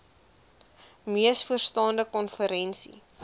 mees vooraanstaande konferensie